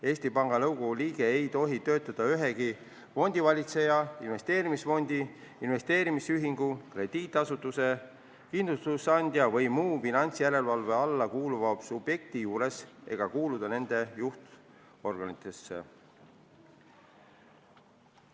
Eesti Panga Nõukogu liige ei tohi töötada ühegi fondivalitseja, investeerimisfondi, investeerimisühingu, krediidiasutuse, kindlustusandja või muu finantsjärelevalve alla kuuluva subjekti juures ega kuuluda nende juhtorganitesse.